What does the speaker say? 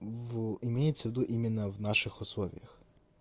в имеется ввиду именно в наших условиях